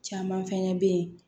Caman fɛnɛ bɛ ye